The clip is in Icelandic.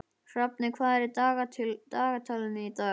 Hrafney, hvað er í dagatalinu í dag?